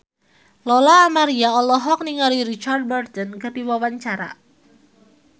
Lola Amaria olohok ningali Richard Burton keur diwawancara